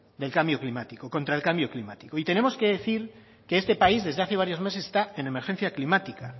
contra cambio climático y tenemos que decir que este país desde hace varios meses está en emergencia climática